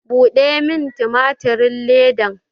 Buɗe min tumatirin ledan!